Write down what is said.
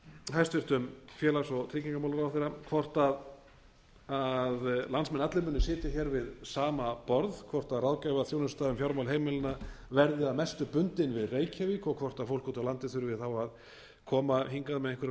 hæstvirtur félags og tryggingamálaráðherra hvort landsmenn allir muni sitja hér við sama borð hvort ráðgjafarþjónusta um fjármál heimilanna verði að mestu bundin við reykjavík og fólk úti á landi þurfi þá að koma hingað með einhverjum